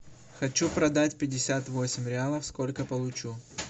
хочу продать пятьдесят восемь реалов сколько получу